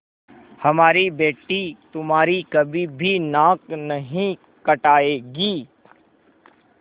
हमारी बेटी तुम्हारी कभी भी नाक नहीं कटायेगी